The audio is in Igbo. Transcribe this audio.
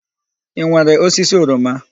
I nwere osisi oroma?